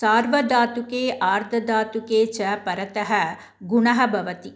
सार्वधातुके आर्धधातुके च परतः गुणः भवति